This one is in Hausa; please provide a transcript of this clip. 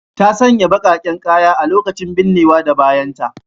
Ta sanya bakaken kaya a lokacin binnewa da bayanta.